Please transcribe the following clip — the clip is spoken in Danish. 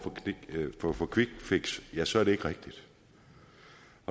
for for quickfix så er det ikke rigtigt